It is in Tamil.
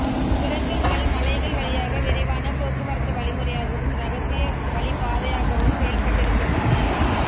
சுரங்கங்கள் மலைகள் வழியாக விரைவான போக்குவரத்து வழிமுறையாகவும் இரகசிய வழிப்பாதையாகவும் செயல்பட்டிருக்கின்றன